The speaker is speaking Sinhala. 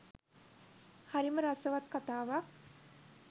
හරිම රසවත් කතාවක්